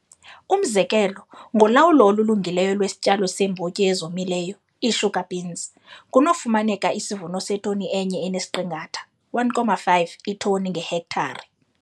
Umzekelo, ngolawulo olulungileyo lwesityalo seembotyi ezomileyo, ii-sugar beans, kunokufumaneka isivuno setoni e-1 enesiqingatha, 1,5, iitoni ngehektare.